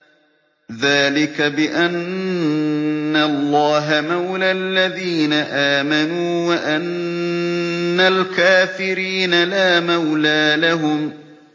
ذَٰلِكَ بِأَنَّ اللَّهَ مَوْلَى الَّذِينَ آمَنُوا وَأَنَّ الْكَافِرِينَ لَا مَوْلَىٰ لَهُمْ